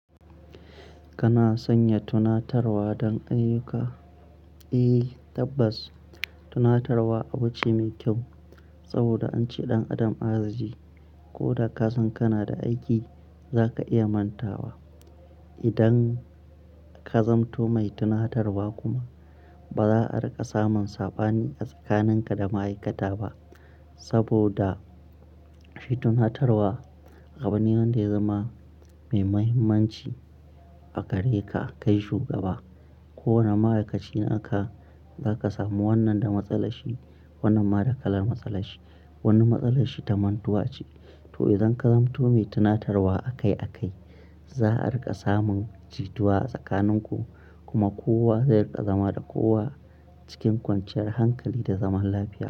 Kana sanya tunatarwa don ayyuka? Eh tabbas, tunatarwa abu ce mai kyau saboda an ce ɗan adam azijii. Ko da ka san kana da aiki, za ka iya manta wa idan ka zamanto mai tunatarwa ko ba za a riƙa samun sabani a tsakaninka da ma'aikata ba saboda shi tunatarwa abu ne wanda ya zama mai mahimmanci a gareka kai shugaba. Kowane ma'aikaci naka za ka samu wannan da matsala shi wannan ma da kalar matsala shi. Wani matsalar shi ta mantuwa ce, to idan ka zamanto mai tunatarwa akai akai, za a riƙa samun jituwa a tsakanin ku kuma kowa zai riƙa zama da kowa cikin kwanciyar hankali da zaman lafiya.